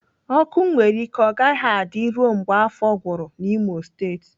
Ọkụ nwere ike ọ gaghị adị ruo mgbe afọ gwụrụ n'Imo State